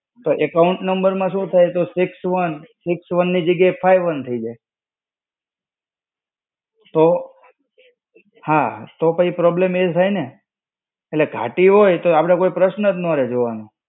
તો account number માં શું થાય કે six one, six one ની જગ્યાએ five one થઇ જાય. તો, હા. તો પછી problem એ થાય ને. એટલે ઘાટી હોય તો આ બધા પ્રશ્નએ જ ન રેય જોવાનો.